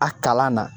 A kalan na